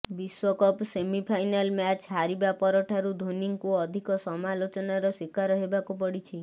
ବିଶ୍ବକପ semifinal match ହାରିବା ପରଠାରୁ ଧୋନୀଙ୍କୁ ଅଧିକ ସମାଲୋଚନାର ଶିକାର ହେବାକୁ ପଡ଼ଛି